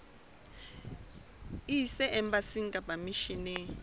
e ise embasing kapa misheneng